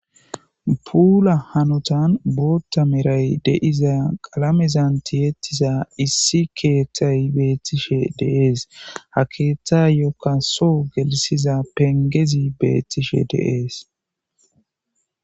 puula hanotan bootta meray deiza qalamezan tiyettiza issi keeththay beettishe deees ha keeththa yokka soo gelisiza pengezi beettishe deees